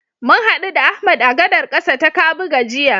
Mun haɗu da Ahmad a gadar ƙasa ta Kabuga jiya.